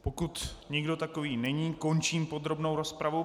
Pokud nikdo takový není, končím podrobnou rozpravu.